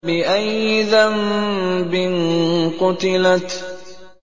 بِأَيِّ ذَنبٍ قُتِلَتْ